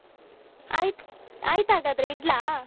ಆಯ್ತು ಆಯ್ತ್ ಹಾಗಾದ್ರೆ ಇಡ್ಲಾ?